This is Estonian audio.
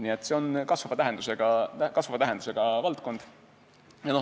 Nii et see on kasvava tähendusega valdkond.